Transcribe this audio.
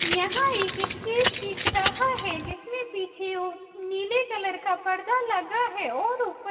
यहां एक स्टेज दिख रहा है जिसमें पीछे वो नीले कलर का पर्दा लगा है और ऊपर--